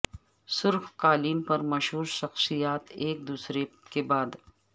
سرخ قالین پر مشہور شخصیات ایک دوسرے کے بعد